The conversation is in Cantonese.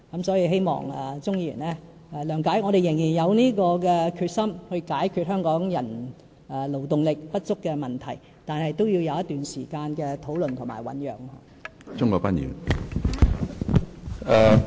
所以，希望鍾議員諒解，我們仍然有決心解決香港勞動力不足的問題，但也要有一段時間的討論及醞釀。